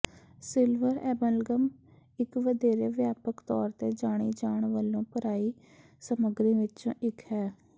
silver amalgam ਇੱਕ ਵਧੇਰੇ ਵਿਆਪਕ ਤੌਰ ਤੇ ਜਾਣੀ ਜਾਣ ਵਾਲੀ ਭਰਾਈ ਸਮੱਗਰੀ ਵਿੱਚੋਂ ਇੱਕ ਹੈ